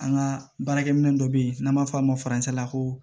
An ka baarakɛminɛn dɔ bɛ yen n'an b'a fɔ a ma la ko